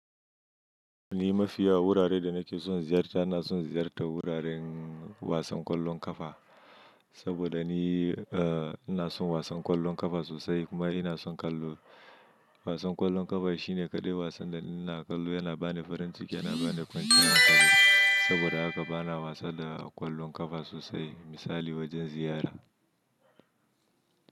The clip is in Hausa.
Ni mafiya wuraren da nake son ziyarta ina son ziyartar wuraren wasan ƙwallon ƙafa saboda ni, eh ina son wasan ƙwallon ƙafa sosai kuma ina son kallo. Wasan ƙwallon ƙafa shi ne ƙadai wasan da ina ƙallo yana bani farin ciki yana bani kwanciyar ƙa'ina saboda haka bana wasa da ƙwallon ƙafa sosai misali wajen ziyara.